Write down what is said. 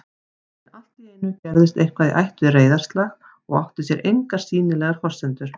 En alltíeinu gerðist eitthvað í ætt við reiðarslag og átti sér engar sýnilegar forsendur